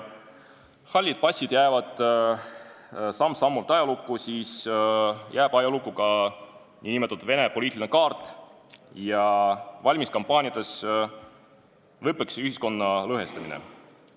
Kui hallid passid jäävad samm-sammult ajalukku, siis jääb ajalukku ka nn Vene poliitiline kaart ja valimiskampaaniates lõppeks see ühiskonna lõhestamine.